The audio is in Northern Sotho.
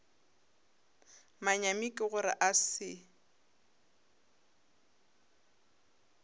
manyami ke gore a se